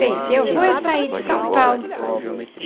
Pensei, eu vou é sair de São Paulo.